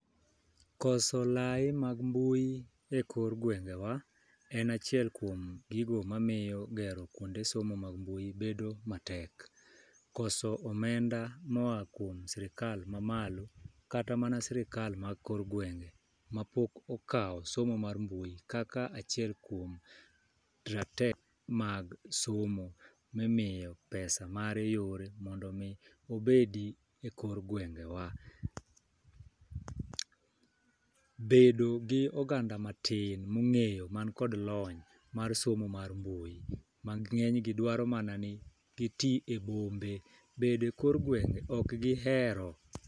Koso lai mag mbui e kor gwengewa en achiel kuom gigo mamiyo gero kuonde somo mar mbui bedo matek, koso omenda moa kuom sirikaa mamalo kata amana sirikal ma kor gwenge mapok okawo somo mar mbui kaka achiel kuom rateke mag somo mimiyo pesa mare yore mondo mi obedi e kor gwenge wa. Bedo gi oganda matin mong'eyo man kod lony mar somo mar mbui mang'eny gi dwari mana ni gitii e bombe bede kor gwenge ok gihero.